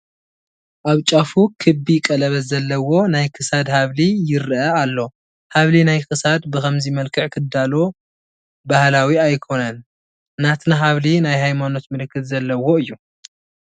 ኣብ ጫፉ ክቢ ቀለበት ዘለዎ ናይ ክሳድ ሓብሊ ይርአ ኣሎ፡፡ ሓብሊ ናይ ክሳድ ብኸምዚ መልክዕ ክዳሎ ባህላዊ ኣይኮነን፡፡ ናትና ሓብሊ ናይ ሃይማኖት ምልክት ዘለዎ እዩ፡፡